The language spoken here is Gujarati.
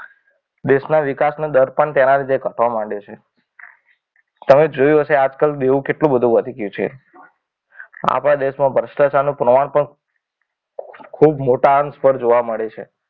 દેશના વિકાસનો દર પણ તેના લીધે ઘટવા માંડે છે. તમે જોયું હશે આજકાલ દેવું કે એટલું વધી ગયું છે. આપણા દેશમાં ભ્રષ્ટાચારનું પ્રમાણ પણ ખૂબ મોટા અંશ પર જોવા મળે છે.